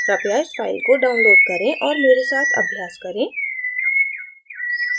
कृपया इस file को download करें और मेरे साथ अभ्यास करें